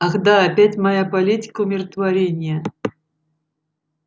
ах да опять моя политика умиротворения